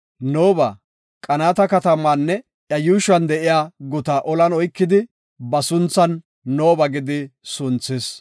Nooba Qanaata katamaanne iya yuushuwan de7iya gutata ollan oykide, ba sunthan “Nooba” gidi sunthis.